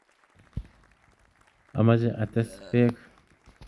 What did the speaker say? Omoche ates beek